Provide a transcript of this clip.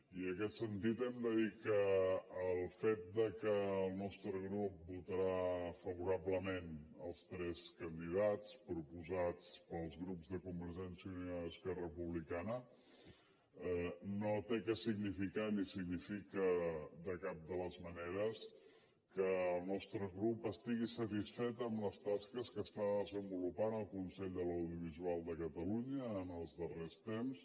i en aquest sentit hem de dir que el fet que el nostre grup votarà favorablement els tres candidats proposats pels grups de convergència i unió i d’esquerra republicana no ha de significar ni significa de cap de les maneres que el nostre grup estigui satisfet amb les tasques que està desenvolupant el consell de l’audiovisual de catalunya els darrers temps